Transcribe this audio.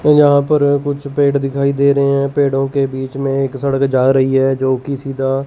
यहां पर कुछ पेड़ दिखाई दे रहे हैं पेड़ों के बीच में एक सड़क जा रही है जो कि सीधा--